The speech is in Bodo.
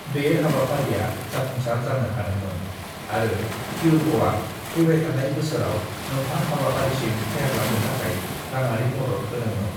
बे हाबाफारिया जाफुंसार जानो हादोंमोन आरो क्युर्भ'आ फैबायथानाय बोसोराव मोन्थाम हाबाफारिसिम फेहेरलांनो थाखाय रांआरि मदद होदोंमोन।